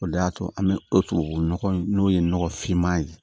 O de y'a to an bɛ o tubabu nɔgɔ in n'o ye nɔgɔ fiman ye